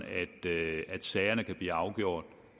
at sagerne kan blive afgjort